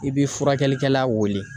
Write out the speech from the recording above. I bi furakɛlikɛla wele.